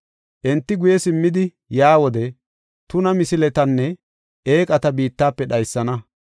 Enti guye simmidi yaa wode tuna misiletanne eeqata biittafe dhaysana.